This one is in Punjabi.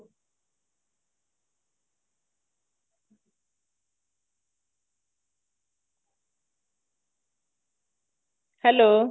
hello